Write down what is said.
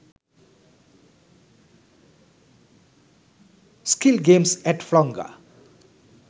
skill games at flonga